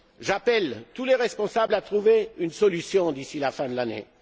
J'appelle tous les responsables à trouver une solution d'ici la fin de l'année.